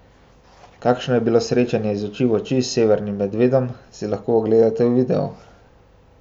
Kakšno je bilo srečanje iz oči v oči s severnim medvedom, si lahko ogledate v videu!